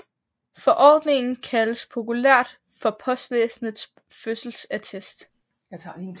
Forordningen kaldes populært for postvæsenets fødselsattest